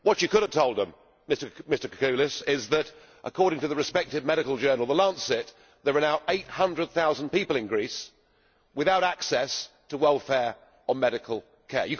What you could have told them, MrKourkoulas, is that, according to the respected medical journal The Lancet there are now 800000 people in Greece without access to welfare or medical care.